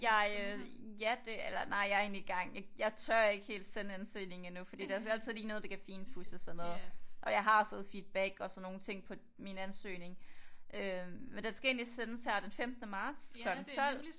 Jeg øh ja det eller nej jeg er egentlig i gang jeg tør ikke helt sende ansøgningen endnu fordi der altid er lige noget der kan finpudses og noget og jeg har fået feedback og sådan nogle ting på min ansøgning øh men den skal egentlig sendes her d. 15 marts klokken 12